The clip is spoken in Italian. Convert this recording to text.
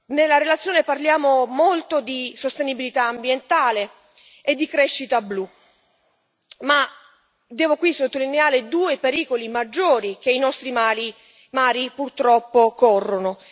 Nella relazione parliamo molto di sostenibilità ambientale e di crescita blu, ma devo qui sottolineare due pericoli maggiori che i nostri mari purtroppo corrono.